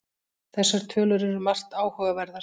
Þessar tölur eru margt áhugaverðar